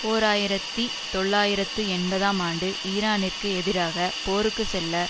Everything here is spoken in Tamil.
ஓர் ஆயிரத்தி தொள்ளாயிரத்து எண்பதாம் ஆண்டு ஈரானிற்கு எதிராக போருக்கு செல்ல